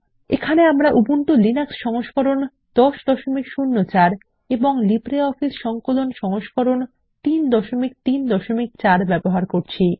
এখানে আমরা Ubuntu Linux সংস্করণ 1004 এবং লিব্রিঅফিস সংকলন সংস্করণ 334 ব্যবহার করছি